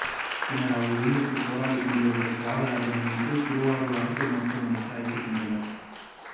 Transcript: பின்னர் அவர்கள் உயிருக்குப் போராடிக்கொண்டிருந்த தியாகராஜனை மீட்டு திருவள்ளூர் அரசு மருத்துவமனைக்கு அழைத்துச் சென்றனர்